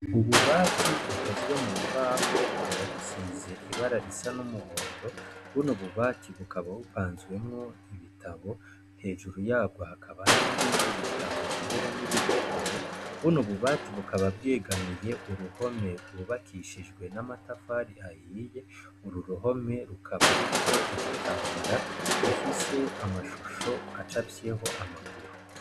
Ububati bukozwe mu mbaho bukaba busize ibara risa n'umuhondo, buno bubati bukaba bupanzwemwo ibitabo, hejuru yabwo hakaba hariyo ibindi bitabo mbere n'ibipukuru, buno bubati bukaba bwegamiye uruhome rwubakishijwe n'amatafari ahiye, uru ruhome rukaba ruriho igitambara gifise amashusho acafyeho amaguru.